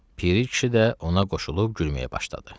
Piri kişi də ona qoşulub gülməyə başladı.